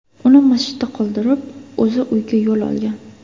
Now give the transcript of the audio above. Uni masjidda qoldirib, o‘zi uyga yo‘l olgan.